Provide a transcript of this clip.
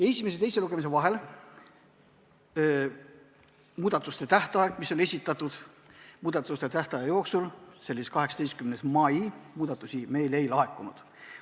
Esimese ja teise lugemise vahelise muudatuste esitamise tähtaja jooksul – see tähtpäev oli 18. mai – meile muudatusi ei laekunud.